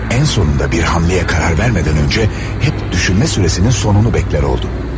Ən sonunda bir hərəkətə qərar vermədən öncə, həmişə düşünmə sürəsinin sonunu gözlər oldu.